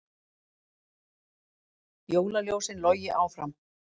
Jólaljósin logi áfram